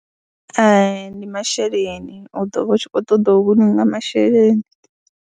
Hai, ndi masheleni u ḓo vha u tshi khou ṱoḓa u vhulunga masheleni.